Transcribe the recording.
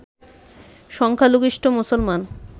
সংখ্যালঘিষ্ট মুসলমান